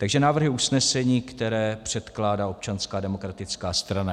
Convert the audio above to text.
Takže návrhy usnesení, které předkládá Občanská demokratická strana.